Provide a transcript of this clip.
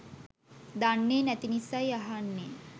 දන්නේ නැති නිසයි අහන්නේ